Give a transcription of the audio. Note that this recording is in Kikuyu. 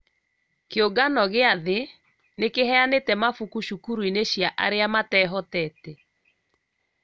kĩũngano gĩa thĩ nĩ kĩheanĩte mabuku cukuruinĩ cia arĩa matehotete